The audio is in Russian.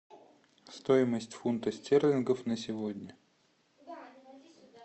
стоимость фунта стерлингов на сегодня